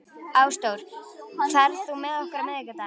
Ásdór, ferð þú með okkur á miðvikudaginn?